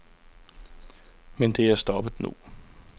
Men det er stoppet nu.